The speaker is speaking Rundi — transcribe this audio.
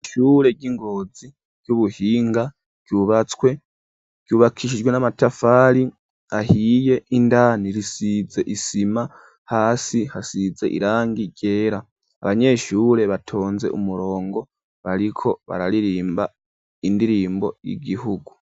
Ishure ry'ingozi ry'ubuhinga cubatswe cubakishijwe n'amatafari ahiye indani risize isima hasi hasize irangi ryera abanyeshure batonze umurongo bariko bararirimba indirimbo y'igihugu.